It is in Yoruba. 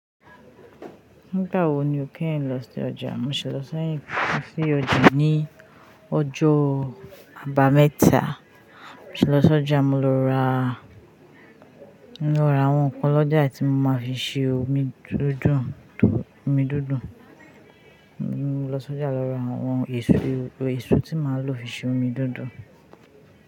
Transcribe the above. Nígbà wo ni o kéyin lọ sí ọjà? Mo ṣẹ̀ lọ sí ọjà ní ọjọ́ àbámẹ́ta. Mo ṣi lọ sí ọjà, mo lọ ra, mo lọ ra àwọn ǹkan lọ́jà tí mo máa fi ṣe omi dùndùn. Mo lọ sí ọjà lọ ra àwọn èso tí màá lò fi ṣe omi dùndùn.